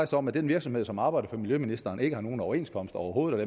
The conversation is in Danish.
sig om at den virksomhed som arbejder for miljøministeren ikke har nogen overenskomst overhovedet og